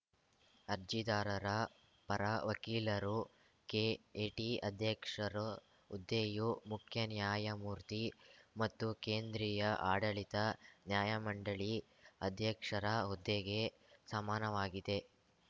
ಅರ್ಜಿದಾರರ ಪರ ವಕೀಲರು ಕೆಎಟಿ ಅಧ್ಯಕ್ಷರು ಹುದ್ದೆಯು ಮುಖ್ಯನ್ಯಾಯಮೂರ್ತಿ ಮತ್ತು ಕೇಂದ್ರೀಯ ಆಡಳಿತ ನ್ಯಾಯಮಂಡಳಿ ಅಧ್ಯಕ್ಷರ ಹುದ್ದೆಗೆ ಸಮನಾವಾಗಿದೆ